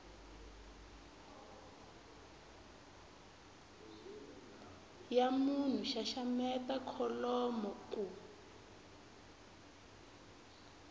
ya munhu xaxameta kholomo ku